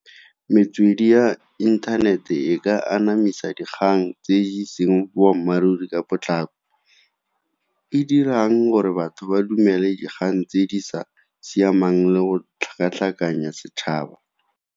Metswedi ya inthanete e ka anamisa dikgang tse e seng boammaaruri ka potlako, e dirang gore batho ba dumele dikgang tse di sa siamang le go tlhakatlhakanya setšhaba.